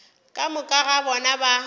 ka moka ga bona ba